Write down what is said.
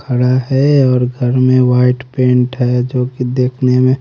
खड़ा है और घर में व्हाईट पेंट हैं जो कि दिखने में--